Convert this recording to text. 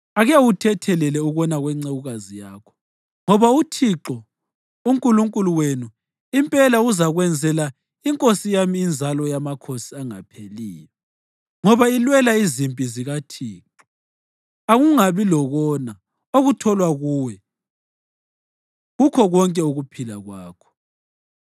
Ake uthethelele ukona kwencekukazi yakho, ngoba uThixo uNkulunkulu wenu impela uzakwenzela inkosi yami inzalo yamakhosi engapheliyo, ngoba ilwela izimpi zikaThixo. Akungabi lokona okutholwa kuwe kukho konke ukuphila kwakho.